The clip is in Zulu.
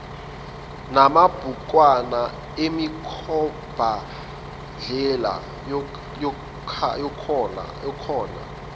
namabhukwana emikhombandlela yakhona